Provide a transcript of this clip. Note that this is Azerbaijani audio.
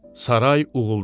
Saray uğuldadı.